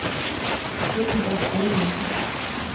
Hulda Einarsson